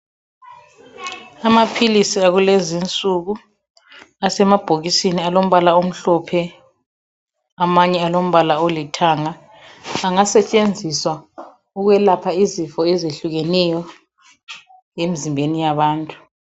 Amaphilisi akulezi insuku asemabhokisini alombala omhlophe, amanye alombala olithanga, angasetshenziswa ukwelapha izifo ezehlukeneyo emzimbeni yabantu.